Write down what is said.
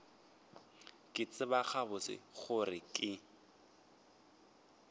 ke tseba gabotse gore ke